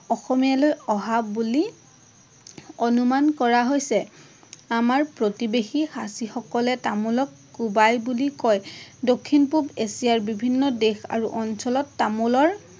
অসমীয়ালৈ অহা বুলি অনুমান কৰা হৈছে। আমাৰ প্ৰতিৱেশী খাচী সকলে তামোলক কুবাই বুলি কয়। দক্ষিণ পূৱ এছিয়াৰ বিভিন্ন দেশ আৰু অঞ্চলত তামোলৰ